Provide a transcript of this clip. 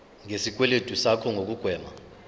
ngesikweletu sakho nokugwema